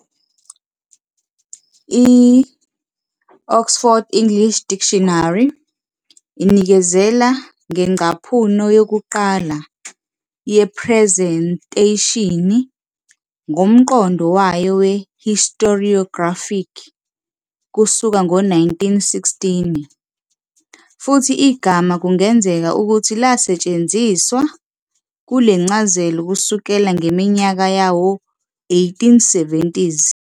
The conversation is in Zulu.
I- "Oxford English Dictionary" inikezela ngengcaphuno yokuqala "yephrezentheshini" ngomqondo wayo we-historiographic kusuka ngo-1916, futhi igama kungenzeka ukuthi lasetshenziswa kule ncazelo kusukela ngeminyaka yawo-1870s.